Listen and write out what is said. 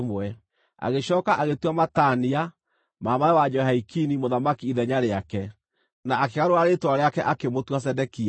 Agĩcooka agĩtua Matania, mama-we wa Jehoiakini, mũthamaki ithenya rĩake, na akĩgarũra rĩĩtwa rĩake, akĩmũtua Zedekia.